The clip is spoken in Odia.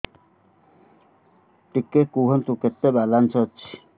ଟିକେ କୁହନ୍ତୁ କେତେ ବାଲାନ୍ସ ଅଛି